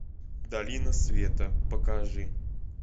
долина света покажи